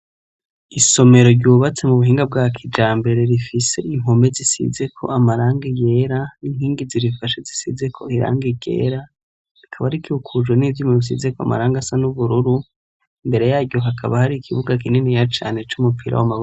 Isomero ryubatse m'ubuhinga bwakijambere rifise impome zisizeko amarangi yera n'inkingi zirifashe zisizeko irangi ryera rikaba rikikujwe n'ivyuma bisizeko amarangi asa n'ubururu. Imbere yaryo hakaba hari ikibuga kininiya cane c'umupira w'amaboko.